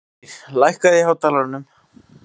Dagnýr, lækkaðu í hátalaranum.